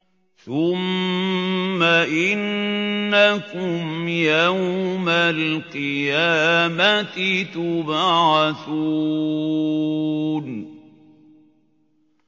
ثُمَّ إِنَّكُمْ يَوْمَ الْقِيَامَةِ تُبْعَثُونَ